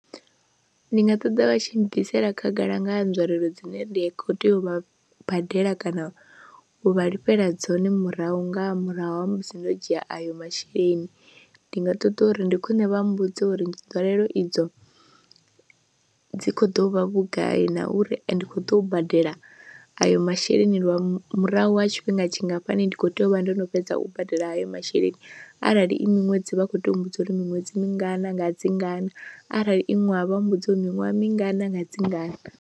Ndi nga ṱoḓa vha tshi bvisela khagala nga ha nzwalelo dzine ndi khou tea u vha badela kana u vha lifhela dzone murahu nga murahu ha musi ndo dzhia ayo masheleni, ndi nga ṱoḓa uri ndi khwine vha mbudze uri dzwalelo idzo dzi khou ḓo vha vhugai na uri ende khou ḓo u badela ayo masheleni lwa murahu ha tshifhinga tshingafhani ndi khou tea u vha ndo no fhedza u badela hayo masheleni arali i miṅwedzi vha khou tea u mmbudza uri miṅwedzi mingana nga dzi ngana arali i ṅwaha vha mmbudza uri miṅwaha mingana nga dzi ngana.